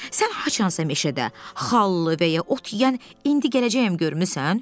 Sən haçansa meşədə xallı və ya ot yeyən indi gələcəyəm görmüsən?